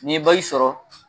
Ni n ye sɔrɔ